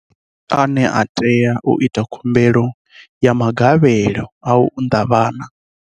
Ndi nnyi ane a tea u ita khumbelo ya magavhelo a u unḓa vhana?